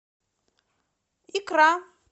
икра